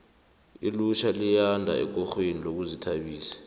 ilitjha liyanda ekorweni yezokuzithabisa